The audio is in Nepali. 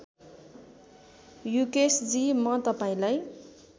युकेशजी म तपाईँलाई